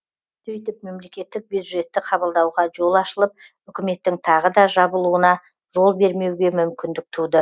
сөйтіп мемлекеттік бюджетті қабылдауға жол ашылып үкіметтің тағы да жабылуына жол бермеуге мүмкіндік туды